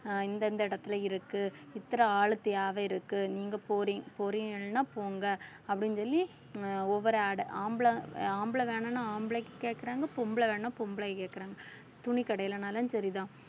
அஹ் இந்த இந்த இடத்தில இருக்கு இத்தனை ஆள் தேவையிருக்கு நீங்க போறீங்~ போறீங்கன்னா போங்க அப்படின்னு சொல்லி ஒவ்வொரு ad ஆம்பளை வேணும்னா ஆம்பளைக்கு கேக்குறாங்க பொம்பளை வேணும்னா பொம்பளைக்கு கேக்குறாங்க துணிக்கடையிலனாலும் சரிதான்